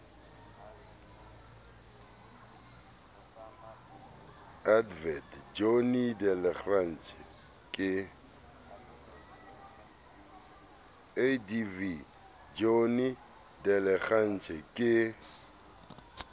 adv johnny de lange ke